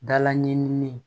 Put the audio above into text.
Dala ɲinini